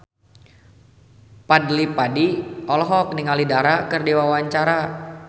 Fadly Padi olohok ningali Dara keur diwawancara